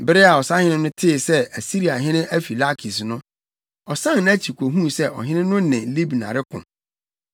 Bere a ɔsahene no tee sɛ Asiriahene afi Lakis no, ɔsan nʼakyi kohuu sɛ ɔhene no ne Libna reko.